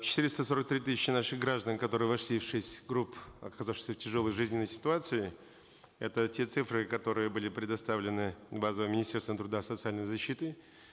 четыреста сорок три тысячи наших граждан которые вошли в шесть групп оказавшихся в тяжелой жизненной ситуации это те цифры которые были предоставлены базами министерства труда социальной защиты